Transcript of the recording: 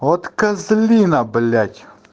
вот козлина блять